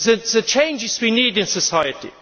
the changes we need in society.